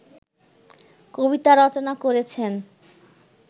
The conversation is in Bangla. কবিতা রচনা করেছেন